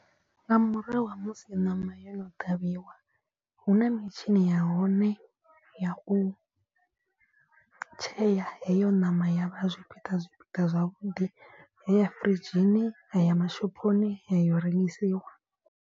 Nga murahu ha musi ṋama yo no ṱhavhiwa hu na mitshini ya hone ya u tshea heyo ṋama ya vha zwipiḓa zwipiḓa zwavhuḓi. Yaya firidzhini ya ya mashophoni yayo rengisiwa.